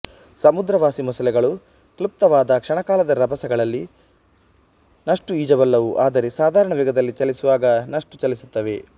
ಸಮುದ್ರವಾಸಿ ಮೊಸಳೆಗಳು ಕ್ಲುಪ್ತವಾದ ಕ್ಷಣಕಾಲದ ರಭಸಗಳಲ್ಲಿ ನಷ್ಟು ಈಜಬಲ್ಲವು ಆದರೆ ಸಾಧಾರಣ ವೇಗದಲ್ಲಿ ಚಲಿಸುವಾಗ ನಷ್ಟು ಚಲಿಸುತ್ತವೆ